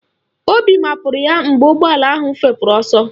Obi mapụrụ ya mgbe ụgbọala ahụ fepụrụ ọsọ